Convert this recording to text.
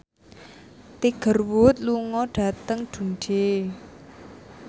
Tiger Wood lunga dhateng Dundee